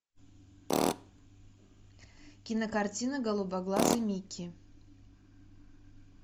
кинокартина голубоглазый микки